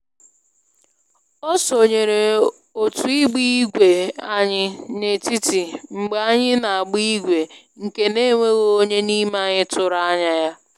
O sonyere otu ịgba igwe anyị n'etiti mgbe anyị n'agba igwe nke na enweghị onye n'ime anyị tụrụ anya ya